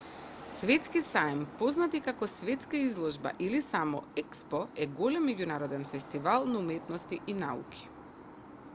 светски саем познат и како светска изложба или само експо е голем меѓународен фестивал на уметности и науки